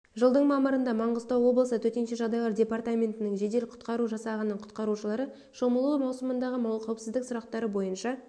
жылдың мамырында маңғыстау облысы төтенше жағдайлар департаментінің жедел құтқару жасағының құтқарушылары шомылу маусымындағы қауіпсіздік сұрақтары бойынша